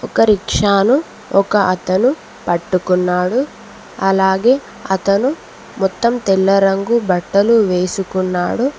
ఒక రిక్షాను ఒక అతను పట్టుకున్నాడు అలాగే అతను మొత్తం తెల్ల రంగు బట్టలు వేసుకున్నాడు.